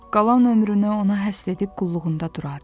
Qalan ömrünü ona həsr edib qulluğunda durardı.